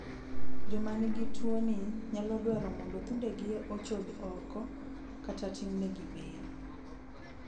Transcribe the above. joma nigi tuoni nyalo dwaro mondo thundegi ochodi oko kata timnegi bero